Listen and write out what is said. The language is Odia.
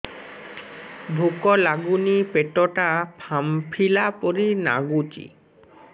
ଭୁକ ଲାଗୁନି ପେଟ ଟା ଫାମ୍ପିଲା ପରି ନାଗୁଚି